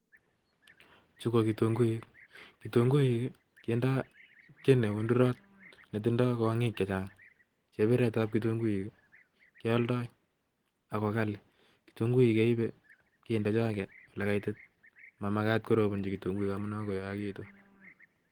Chuko kitunguik. Kitunguik kendoi kit niundurot netindoi kwonyik chechang. Chebiretab kitunguik, kealdoi agogali. Kitunguik keibei, kende choke olekaoiti, mamakat korobanji kitunguik amun agoi koyagegiku.